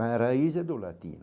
Mas a raiz é do latino.